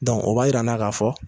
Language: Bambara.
Dɔnku, o b'a jir'an na k'a fɔ